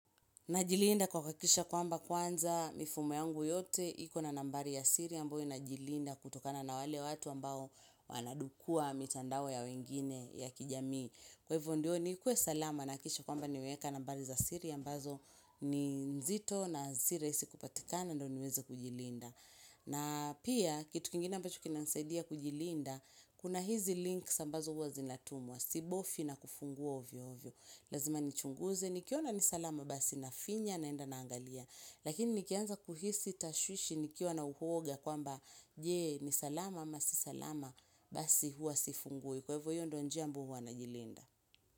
Najilinda kwa kuakikisha kwamba kwanza mifumo yangu yote, iko na nambari ya siri ambayo inajilinda kutokana na wale watu ambao wanadukua mitandao ya wengine ya kijamii. Kwa hivyo ndio nikuwe salama nahakikisha kwamba nimeweka nambari za siri ambazo ni nzito na si rahisi kupatikana ndo niweze kujilinda. Na pia kitu kingine ambacho kinanisaidia kujilinda, kuna hizi links ambazo uwa zinatumwa, sibofi na kufungua ovyoovyo. Lazima nichunguze, nikiona ni salama basi nafinya naenda naangalia Lakini nikianza kuhisi tashwishi nikiwa na uoga kwamba Je, ni salama ama si salama basi huwa sifungui Kwa hivyo hivyo ndo njia ambayo huwa najilinda.